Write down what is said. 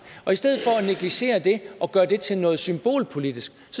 og i stedet for at negligere det og gøre det til noget symbolpolitisk